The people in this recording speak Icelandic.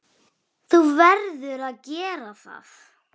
Þú verður að gera það.